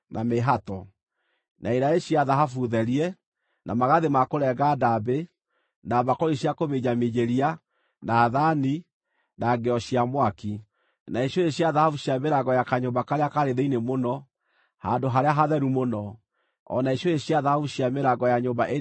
na iraĩ cia thahabu therie, na magathĩ ma kũrenga ndaambĩ, na mbakũri cia kũminjaminjĩria, na thaani, na ngĩo cia mwaki; na icũhĩ cia thahabu cia mĩrango ya kanyũmba karĩa kaarĩ thĩinĩ mũno, Handũ-harĩa-Hatheru-Mũno, o na icũhĩ cia thahabu cia mĩrango ya nyũmba ĩrĩa nene ya hekarũ.